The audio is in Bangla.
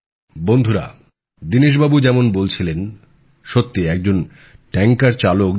বন্ধুরা দীনেশবাবু যেমন বলছিলেন সত্যি একজন ট্যাঙ্কার চালক যখন